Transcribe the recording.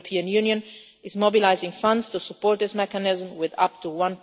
The European Union is mobilising funds to support this mechanism with up to EUR